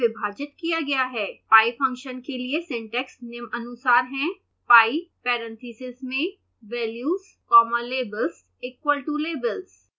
pie function के लिए syntax निम्नानुसार हैः pie parentheses में values comma labels equal to labels